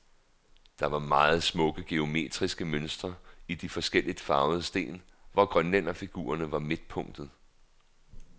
Der var meget smukke geometriske mønstre i de forskelligt farvede sten, hvor grønlænderfigurerne var midtpunktet.